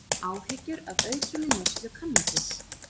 Áhyggjur af aukinni neyslu kannabis